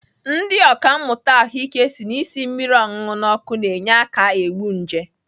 Ndị ọkàmmụta ahụike si na isi mmiri ọṅụṅụ n'ọkụ na-enye aka egbu nje.